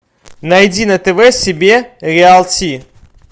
найди на тв себе реалти